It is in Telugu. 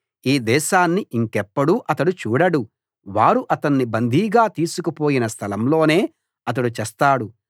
ఈ దేశాన్ని ఇంకెప్పుడూ అతడు చూడడు వారు అతణ్ణి బందీగా తీసుకుపోయిన స్థలంలోనే అతడు చస్తాడు